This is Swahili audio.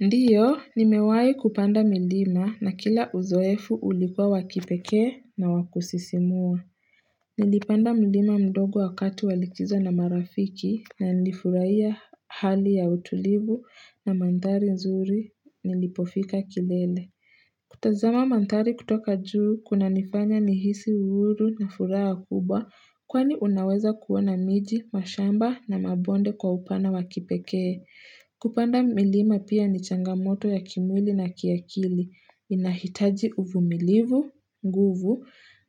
Ndio, nimewai kupanda milima na kila uzoefu ulikuwa wakipekee na wakusisimua. Nilipanda milima mdogo wakatu walikizo na marafiki na nilifurahia hali ya utulivu na manthari nzuri nilipofika kilele. Kutazama manthari kutoka juu kuna nifanya nihisi uhuru na furaha kubwa kwani unaweza kuwana miji, mashamba na mabonde kwa upana wakipeke. Kupanda milima pia ni changamoto ya kimwili na kiakili, inahitaji uvumilivu, nguvu